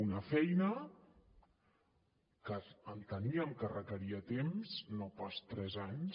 una feina que enteníem que requeria temps no pas tres anys